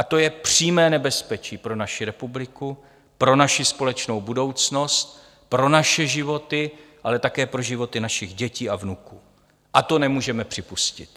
A to je přímé nebezpečí pro naši republiku, pro naši společnou budoucnost, pro naše životy, ale také pro životy našich dětí a vnuků, a to nemůžeme připustit.